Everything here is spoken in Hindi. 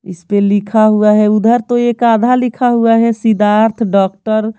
इस पे लिखा हुआ है उधर तो एक आधा लिखा हुआ है सिद्धार्थ डॉक्टर --